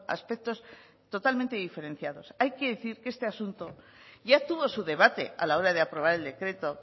aspectos totalmente diferenciados hay que decir que este asunto ya tuvo su debate a la hora de aprobar el decreto